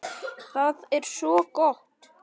Það er svo gott!